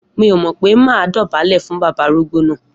Mi o mò pẹ mà dọ bàlé fún bàbá àrúgbò nà